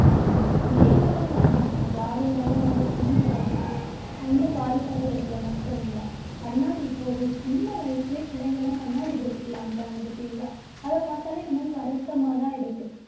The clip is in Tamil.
game எல்லாம் விளையாடுறாங்க விளையாடியதனால என்ன பண்ணுது கண்ணு பாதிக்குது கண்ணு பாதிப்படையறதுல மட்டும் இல்லை கண்ணாடி இப்ப ஒரு சின்ன வயசுலயே பிள்ளைங்க எல்லாம் கண்ணாடி போட்டுக்கலான்றாங்க பார்த்தீங்களா அதப்பார்த்தாலே நமக்கு வருத்தமாதான் இருக்கு.